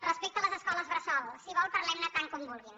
respecte a les escoles bressol si vol parlem ne tant com vulguin